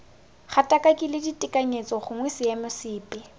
gatakakile ditekanyetso gongwe seemo sepe